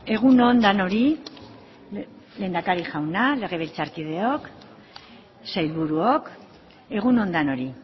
egun on denoi lehendakari jauna legebiltzarkideok sailburuok egun on denoi